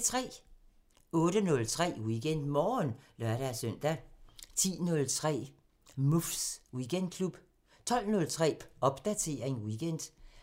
08:03: WeekendMorgen (lør-søn) 10:03: Muffs Weekendklub 12:03: Popdatering weekend